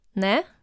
Ne?